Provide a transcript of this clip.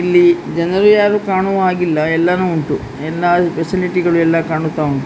ಇಲ್ಲಿ ಜನರು ಯಾರು ಕಾಣುವ ಹಾಗೆ ಇಲ್ಲ ಎಲ್ಲಾನು ಉಂಟು ಎಲ್ಲ ಫೆಸಿಲಿಟಿ ಗಳು ಎಲ್ಲ ಕಾಣುತ್ತಾ ಉಂಟು.